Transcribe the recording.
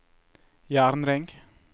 jernring